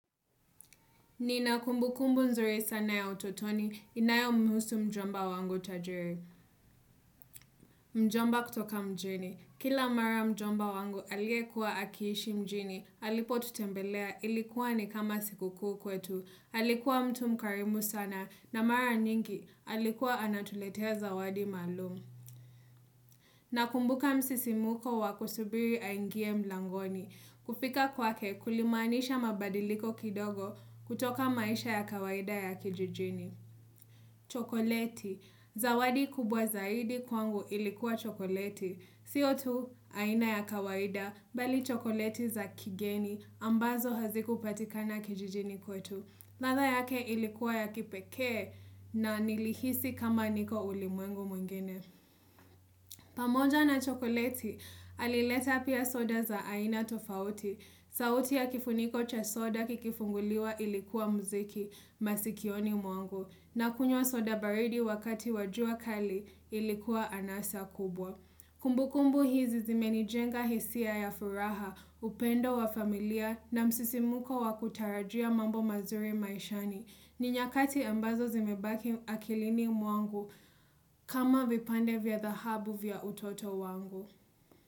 Nina kumbukumbu nzuri sana ya utotoni inayomhusu mjomba wangu tajiri. Mjomba kutoka mjini. Kila mara mjomba wangu aliyekuwa akiishi mjini. Alipotutembelea, ilikuwa ni kama sikukuu kwetu. Alikuwa mtu mkarimu sana na mara nyingi. Alikuwa anatuletea zawadi maalum. Nakumbuka msisimuko wakusubiri aingie mlangoni. Kufika kwake kulimanisha mabadiliko kidogo kutoka maisha ya kawaida ya kijijini. Chokoleti, zawadi kubwa zaidi kwangu ilikuwa chokoleti. Siyo tu aina ya kawaida, bali chokoleti za kigeni, ambazo hazikupatikana kijijini kwetu. Ladha yake ilikuwa ya kipekee na nilihisi kama niko ulimwengu mwengine pamoja na chokoleti, alileta pia soda za aina tofauti. Sauti ya kifuniko cha soda kikifunguliwa ilikuwa mziki masikioni mwangu, na kunywa soda baridi wakati wa jua kali ilikuwa anasa kubwa. Kumbukumbu hizi zimenijenga hisia ya furaha, upendo wa familia na msisimuko wa kutarajia mambo mazuri maishani. Ni nyakati ambazo zimebaki akilini mwangu kama vipande vya dhahabu vya utoto wangu.